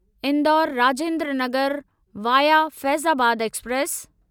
Indore Rajendra Nagar via Faizabad express